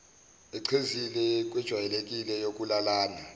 echezile kwejwayelekile yokulalana